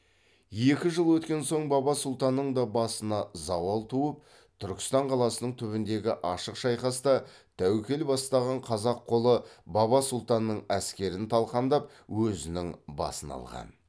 екі жыл өткен соң баба сұлтанның да басына зауал туып түркістан қаласының түбіндегі ашық шайқаста тәуекел бастаған қазақ қолы баба сұлтанның әскерін талқандап өзінің басын алған